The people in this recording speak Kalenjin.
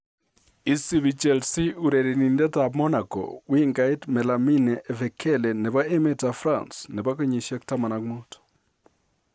Isibii Chelsea urerenindetab Monaco, wingait Malamine Efekele nebo emetab France, nebo kenyisiek 15.